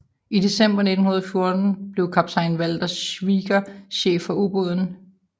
I december 1914 blev kaptajn Walther Schwieger chef for ubåden